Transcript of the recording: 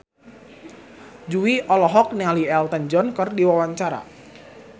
Jui olohok ningali Elton John keur diwawancara